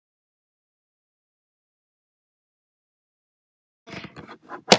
Þeir litu í kringum sig.